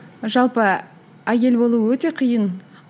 жалпы әйел болу өте қиын